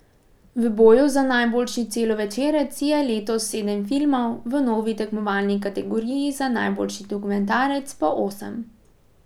V boju za najboljši celovečerec je letos sedem filmov, v novi tekmovalni kategoriji za najboljši dokumentarec pa osem.